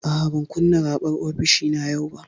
A'a, ban kunna raɓar ofishina yau ba.